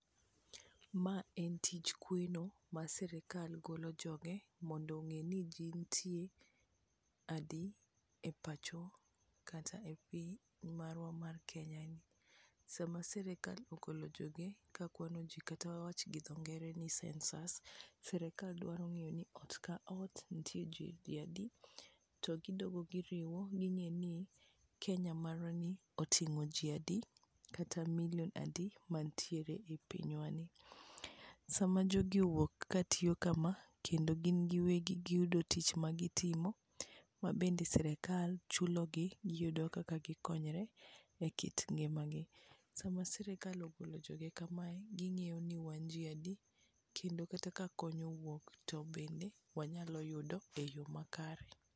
Ma en tij kweno ma sirikal golo joge mondo ong'e ni ji ntie adi e pacho kata e piny marwa mar Kenyani. Sama sirikla ogole joge kakwano ji kata wawach gi dhongere ni census, sirikal dwa ng'eyo ni ot ka ot nitie ji adi, to gidogo giriwo ging'eni Kenya marwani oting'o ji adi kata milion adi mantiere e pinywani. Sama jogi owuok katiyo kama kendo gin giwegi giyudo tich magitimo mabende sirikal chulogi giyudo kaka gikonyre e kit ngimagi, sama sirikal ogolo joge kamae, ging'iyo ni wan ji ade, kendo kata ka kony owuok wanyalo yudo e yo makare.